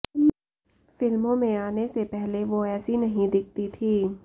फिल्मों में आने से पहले वो ऐसी नहीं दिखती थीं